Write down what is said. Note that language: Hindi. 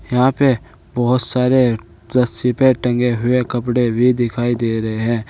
यहां पे बहुत सारे रस्सी पे टंगे हुए कपड़े भी दिखाई दे रहे हैं।